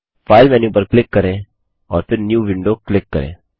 file menu पर click करें और फिर न्यू विंडो क्लिक करें